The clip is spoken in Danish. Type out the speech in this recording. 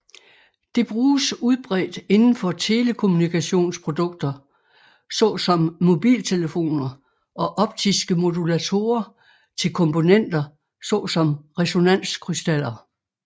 Det bruges udbredt indenfor telekommunikationsprodukter såsom mobiltelefoner og optiske modulatorer til komponenter såsom resonanskrystaller